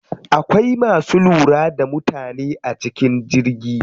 Akwai masu lura da mutane a cikin jirgi.